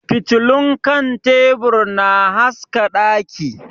Fitilun kan tebur na haska daki.